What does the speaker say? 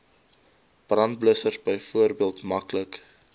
brandblussers byvoorbeeld maklik